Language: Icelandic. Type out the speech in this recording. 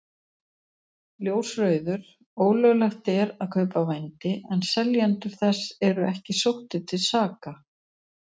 Ljósrauður: Ólöglegt er að kaupa vændi en seljendur þess eru ekki sóttir til saka.